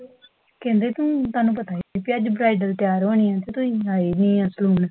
ਕਹਿੰਦੇ ਤੁਹਾਨੂੰ ਪਤਾ ਹੀ ਸੀ ਬੀ ਅੱਜ ਬ੍ਰਾਈਡਲ ਤਿਆਰ ਹੋਣੀ ਹੈ, ਤੇ ਤੁਸੀਂ ਆਏ ਹੀ ਨੀ ਸਕੂਲ